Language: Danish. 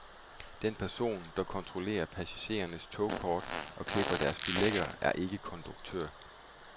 Den person, der kontrollerer passagerernes togkort og klipper deres billetter er ikke konduktør.